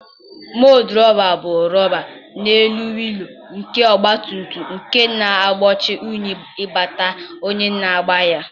Mọdụgaadị bụ rọba n'elu wịịlụ nke ọgbatumtum nke na-egbochi unyi ịbata onye na-agba ya.